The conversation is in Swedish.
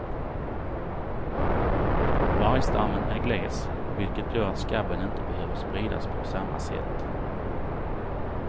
Vargstammen är gles, vilket gör att skabben inte behöver spridas på samma sätt.